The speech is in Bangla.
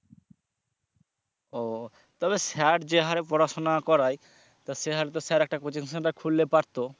ও তবে sir যে হারে পড়াশুনা করায় তা সে হারে তো sir একটা coaching center খুললে পারতো।